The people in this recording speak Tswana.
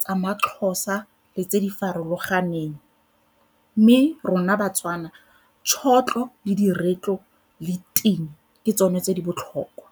tsa maXhosa le tse di farologaneng mme rona baTswana tšhotlho, le diretlo le ting ke tsone tse di botlhokwa.